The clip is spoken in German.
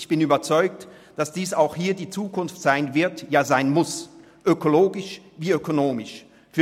Ich bin überzeugt, dass dies auch hier die Zukunft sein wird, ja sein muss – sowohl in ökologischer als auch in ökonomischer Hinsicht.